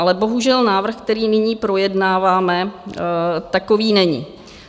Ale bohužel návrh, který nyní projednáváme, takový není.